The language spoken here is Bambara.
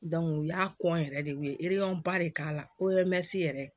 u y'a kɔn yɛrɛ de u ye de k'a la yɛrɛ